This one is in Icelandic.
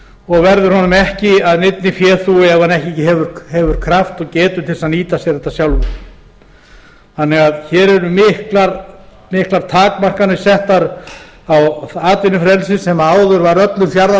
og verður honum ekki að neinni féþúfu ef hann ekki hefur kraft og getu til þess að nýta sér þetta sjálfur hér eru því miklar takmarkanir settar á atvinnufrelsið sem áður var öllum fjarða